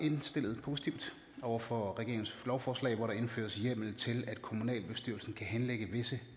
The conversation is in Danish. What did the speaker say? indstillet over for regeringens lovforslag hvor der indføres hjemmel til at kommunalbestyrelsen kan henlægge visse